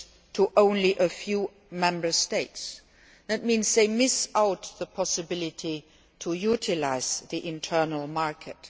to only a few Member States. That means they miss out on the possibility of utilising the Internal Market.